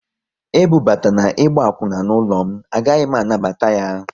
E bubatana ịgba akwuna n'ụlọ m, a gaghị m anabata ya!